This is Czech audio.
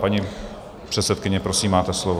Paní předsedkyně, prosím, máte slovo.